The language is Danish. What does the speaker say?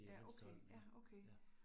Ja, okay, ja okay